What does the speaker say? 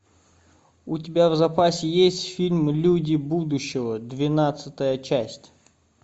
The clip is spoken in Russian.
у тебя в запасе есть фильм люди будущего двенадцатая часть